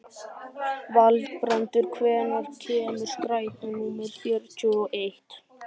Valbrandur, hvenær kemur strætó númer fjörutíu og eitt?